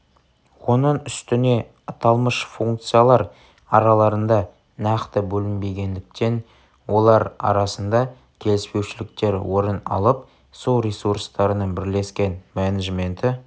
оның үстіне аталмыш функциялар араларында нақты бөлінбегендіктен олар арасында келіспеушіліктер орын алып су ресурстарының бірлескен менеджменті